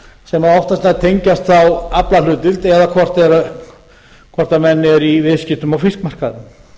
sem oftast nær tengjast þá aflahlut eða hvort menn eru í viðskiptum á fiskmarkaði það